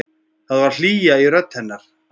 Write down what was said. Það var hlýja í rödd hennar.